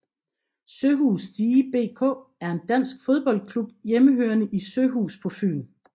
Søhus Stige BK er en dansk fodboldklub hjemmehørende i Søhus på Fyn